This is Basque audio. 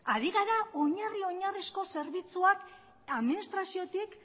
ari gara oinarri oinarrizko zerbitzuak administraziotik